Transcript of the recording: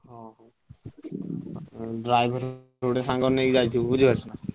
ହଁ ହଁ driver ଗୋଟେ ସାଙ୍ଗ ନେଇକି ଯାଇଥିବ ବୁଝିପାରୁଛ ନାଁ?